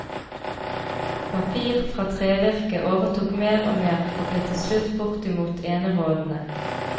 Papir fra trevirke overtok mer og mer og ble til slutt bortimot enerådende.